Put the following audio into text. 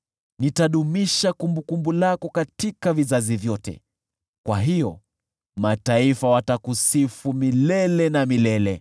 Nitadumisha kumbukumbu lako katika vizazi vyote, kwa hiyo mataifa watakusifu milele na milele.